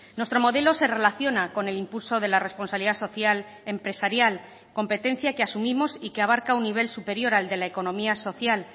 nuestro modelo se relaciona con el impulso de la responsabilidad social empresarial competencia que asumimos y que abarca un nivel superior al de la economía social